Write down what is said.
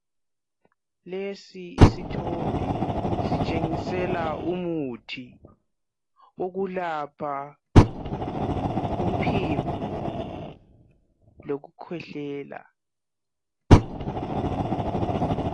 Lesi isithombe sitshengisela umuthi wokulapha umphimbo lokukhwehlela.